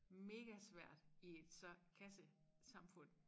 Mega svært i et så kasse samfund